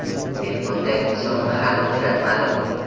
Men bunday insonni hali uchratmadim.